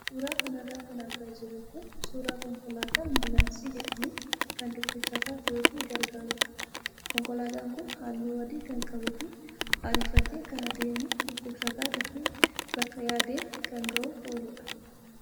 Suuraa kanarraa kan argaa jirru kun suuraa konkolaataa ambulaansii jedhamu kan dhukkubsataa fe'uuf gargaarudha. Konkolaataan kun halluu adii kan qabuu fi ariifatee kan adeemu dhukkubsataa dafee bakka yaadeen kan gahuuf ooludha.